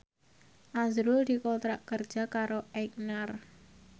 azrul dikontrak kerja karo Aigner